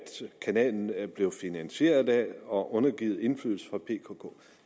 kanalen er blevet finansieret af og undergivet indflydelse fra pkk